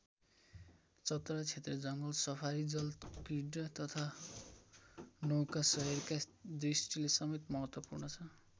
चतरा क्षेत्र जङ्गल सफारी जलक्रिडा तथा नौकाशयरका दृष्टिले समेत महत्वपूर्ण छ।